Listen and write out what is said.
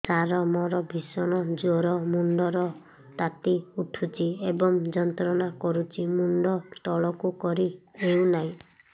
ସାର ମୋର ଭୀଷଣ ଜ୍ଵର ମୁଣ୍ଡ ର ତାତି ଉଠୁଛି ଏବଂ ଯନ୍ତ୍ରଣା କରୁଛି ମୁଣ୍ଡ ତଳକୁ କରି ହେଉନାହିଁ